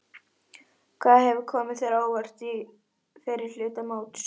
Hvað hefur komið þér á óvart í fyrri hluta móts?